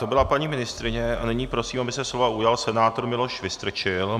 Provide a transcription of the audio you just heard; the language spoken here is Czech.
To byla paní ministryně a nyní prosím, aby se slova ujal senátor Miloš Vystrčil.